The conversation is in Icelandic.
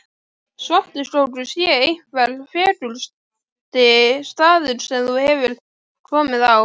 Svartiskógur sé einhver fegursti staður sem þú hefur komið á.